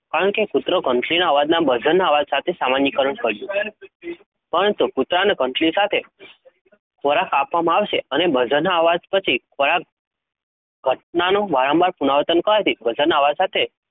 કારણ કે કુતરો ઘંટડીના અવાજના buzzer ના અવાજ સાથે સામાણીકરણ કર્યું. પરંતુ કૂતરાને ઘંટડી સાથે ખોરાક આપવામાં આવશે અને buzzer ના અવાજ પછી ખોરાક ઘટનાનું વારંવાર પુનરાવર્તન કરવાથી buzzer ના અવાજ સાથે